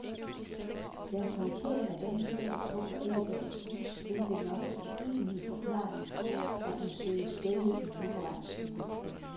Deres håndtering af denne sag tåler ikke dagens lys, hvilket nok er den egentlige forklaring på, at den søges dækket i juraens skygge.